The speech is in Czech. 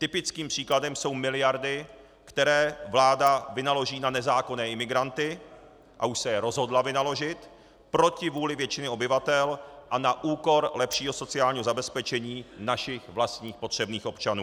Typickým příkladem jsou miliardy, které vláda vynaloží na nezákonné imigranty, a už se je rozhodla vynaložit, proti vůli většiny obyvatel a na úkor lepšího sociálního zabezpečení našich vlastních potřebných občanů.